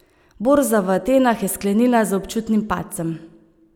Borza v Atenah je sklenila z občutnim padcem.